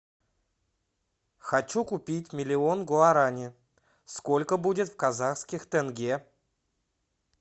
хочу купить миллион гуарани сколько будет в казахских тенге